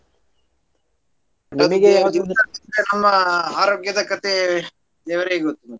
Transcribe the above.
ನಮ್ಮ ಆರೋಗ್ಯದ ಕತೆ ದೇವ್ರಿಗೆ ಗೊತ್ತು ಮತ್ತೆ.